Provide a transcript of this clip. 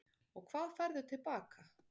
Og hvað færðu til baka?